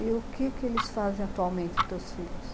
E o que que eles fazem atualmente, os teus filhos?